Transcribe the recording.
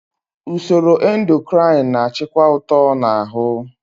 Usoro endokrin na-achịkwa uto na ahụ.